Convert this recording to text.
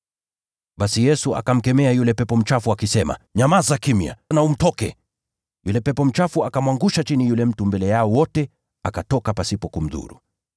Basi Yesu akamkemea yule pepo mchafu, akisema, “Nyamaza kimya! Nawe umtoke!” Yule pepo mchafu akamwangusha yule mtu chini mbele yao wote, akatoka pasipo kumdhuru.